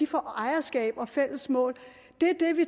får ejerskab og fælles mål